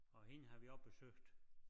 Og hende har vi også besøgt